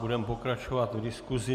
Budeme pokračovat v diskusi.